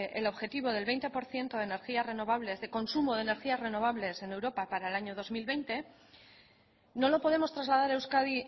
el objetivo del veinte por ciento de energía renovables de consumo de energía renovables en europa para el año dos mil veinte no lo podemos trasladar a euskadi